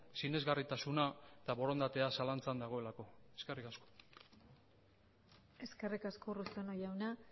sinesgarritasuna eta borondatea zalantzan dagoelako eskerrik asko eskerrik asko urruzuno jauna